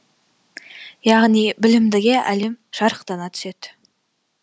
яғни білімдіге әлем жарықтана түседі